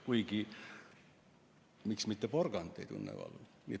Kuigi, miks mitte, ehk ka porgand tunneb valu.